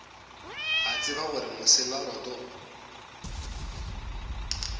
a tseba gore mosela roto